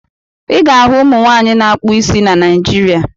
Ị ga-ahụ ụmụ nwaanyị na-akpụ isi na Naịjirịa.